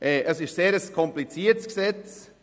Es ist ein sehr kompliziertes Gesetz: